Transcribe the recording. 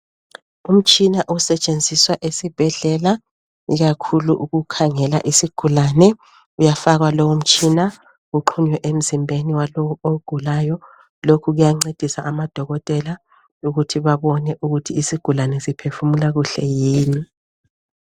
Umtshina osetshenziswa esibhedlela, ikakhulu ukukhangela isigulane. Uyafakwa lowu mtshina uxhonywe emzimbeni walowo ogulayo. Lokhu kuyancedisa amadokotela ukuthi abone ukuthi isigulane siphefumula kuhle yini.